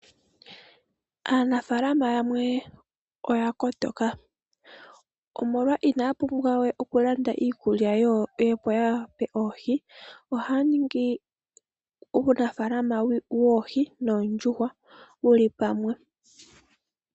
Aanafaalama yamwe oya kotoka. Inaya pumbwa we okulanda iikulya yoohi. Ohaya ningi oofaalama dhoohi noondjuhwa dhili pamwe.